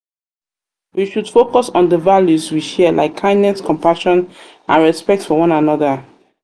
we should focus on di values we share like kindness compassion and respect for one another.